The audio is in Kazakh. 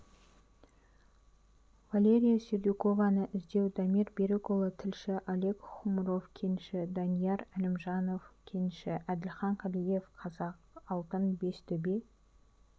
валерия сердюкованы іздеу дамир берікұлы тілші олег хмуров кенші данияр әлімжанов кенші әділхан қалиев қазақалтын бестөбе